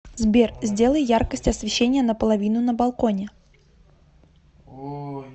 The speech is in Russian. сбер сделай яркость освещения на половину на балконе